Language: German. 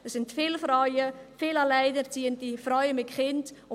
Es sind viele Frauen, viele alleinerziehende Frauen mit Kindern.